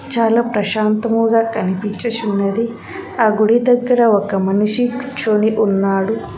చాలా ప్రశాంతముగా కనిపించిచున్నది ఆ గుడి దగ్గర ఒక మనిషి కూర్చోని ఉన్నాడు.